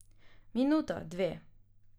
Minuta, dve.